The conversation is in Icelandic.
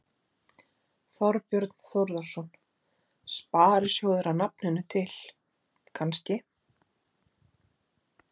Þorbjörn Þórðarson: Sparisjóðir að nafninu til, kannski?